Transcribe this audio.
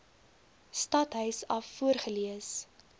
stadhuis af voorgelees